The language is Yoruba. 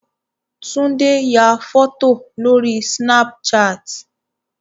Tunde ya fọ́tò lórí Snapchat.